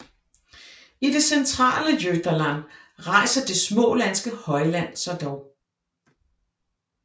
I det centrale Götaland rejser det smålandske højland sig dog